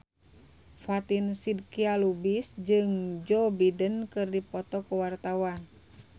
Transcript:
Fatin Shidqia Lubis jeung Joe Biden keur dipoto ku wartawan